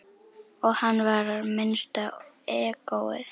Og hann var minnsta egóið.